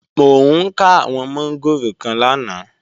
Mo ká àwọn mọ́ngòrò kan lánàá